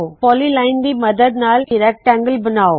polyline ਦੀ ਮੱਦਦ ਨਾਲ ਇਕ ਸਮਕੋਣ ਯਾਨਿ ਰੈਕਟੈਂਗਲ ਬਨਾਓ